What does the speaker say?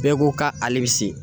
Bɛɛ ko k'ale bi se